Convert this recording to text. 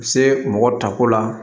Se mɔgɔ tako la